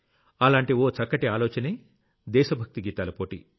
అలాంటి ఓ చక్కటి ఆలోచనే దేశ భక్తి గీతాల పోటీ